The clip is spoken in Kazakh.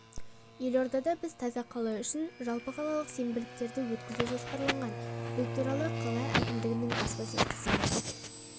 елордада біз таза қала үшін жалпықалалық сенбіліктерді өткізу жоспарланған бұл туралы қала әкімдігінің баспасөз қызметі